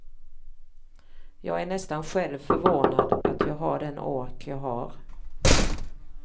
Jag är nästan själv förvånad att jag har den ork jag har.